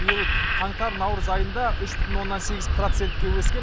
биыл қаңтар наурыз айында үш бүтін оннан сегіз процентке өскен